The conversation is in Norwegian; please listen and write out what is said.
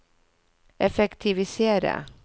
effektiviseres